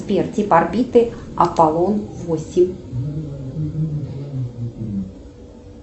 сбер тип орбиты аполлон восемь